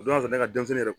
O don ne ka denmisɛnnin yɛrɛ